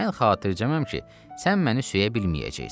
Mən xatircəməm ki, sən məni söyə bilməyəcəksən.